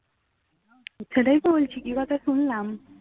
সেটাই বলছি কি কথা শুনলাম